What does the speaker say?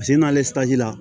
n'ale la